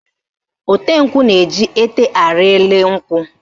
Ote nkwụ na-eji ete arị elu nkwụ